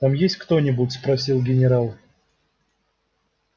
там есть кто-нибудь спросил генерал